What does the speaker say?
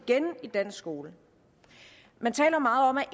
igen i dansk skole man taler meget om at